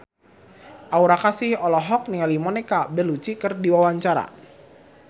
Aura Kasih olohok ningali Monica Belluci keur diwawancara